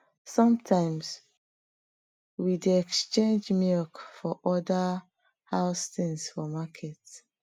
sometimes wey dey exchange milk for other house things for market